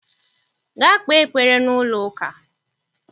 Gaa kpee ekpere n'ụlọ ụka!